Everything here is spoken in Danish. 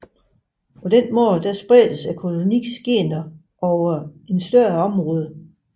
På den måde spredes koloniens gener over et større område